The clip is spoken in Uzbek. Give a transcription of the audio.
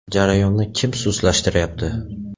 Jarayonni kim sustlashtirayapti?